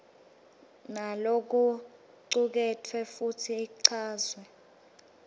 nalokucuketfwe futsi ichazwe